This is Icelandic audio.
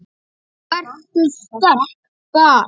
Vertu sterk- bað